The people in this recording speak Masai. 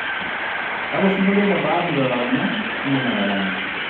Kalo singolio le bahati lotaranya iidim nitarany